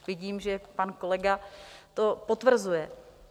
Vidím, že pan kolega to potvrzuje.